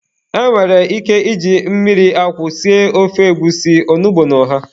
E nwere ike iji mmiri akwụ sie ofe egwusi, onugbu na ọha.